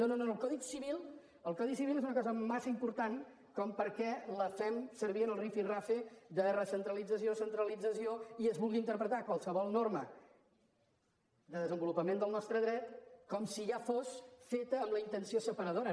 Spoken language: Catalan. no no no el codi civil el codi civil és una cosa massa important perquè la fem servir en l’estira i arronsa de recentralització centralització i es vulgui interpretar qualsevol norma de desenvolupament del nostre dret com si ja fos feta amb la intenció separadora